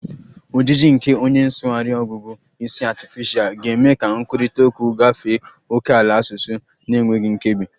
Ojiji nke onye nsụgharị ọgụgụ isi artificial ga-eme ka nkwurịta okwu gafee ókèala asụsụ na-enweghị nkebi